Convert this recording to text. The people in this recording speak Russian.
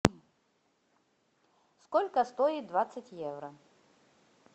сколько стоит двадцать евро